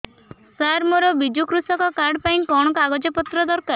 ସାର ମୋର ବିଜୁ କୃଷକ କାର୍ଡ ପାଇଁ କଣ କାଗଜ ପତ୍ର ଦରକାର